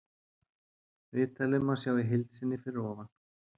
Viðtalið má sjá í heild sinni fyrir ofan.